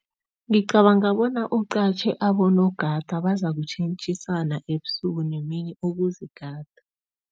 Ngicabanga bona uqatjhe abonogada, bazakutjhentjhisana ebusuku nemini ukuzigada.